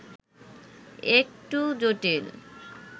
একটু জটিল